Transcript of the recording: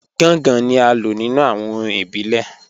Gàngàn ni à lọ̀ nínu awọn orín ìbílẹ̀.